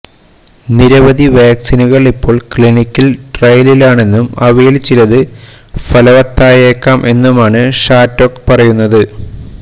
നിരവധി വാക്സിനുകൾ ഇപ്പോൾ ക്ലിനിക്കൽ ട്രയലിലാണെന്നും അവയിൽ ചിലത് ഫലവത്തായേക്കാം എന്നുമാണ് ഷാറ്റോക്ക് പറയുന്നത്